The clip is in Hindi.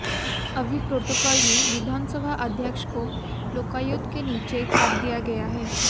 अभी प्रोटोकाल में विधानसभा अध्यक्ष को लोकायुक्त के नीचे कर दिया गया है